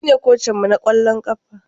Shine kocinmu na kwallon kafa.